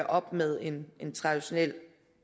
op med en en traditionel